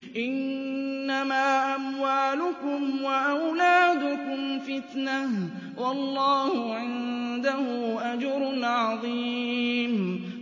إِنَّمَا أَمْوَالُكُمْ وَأَوْلَادُكُمْ فِتْنَةٌ ۚ وَاللَّهُ عِندَهُ أَجْرٌ عَظِيمٌ